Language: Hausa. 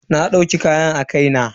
Na dauki kayan a kai na.